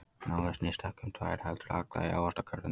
Málið snýst ekki um ykkur tvær, heldur alla í Ávaxtakörfunni.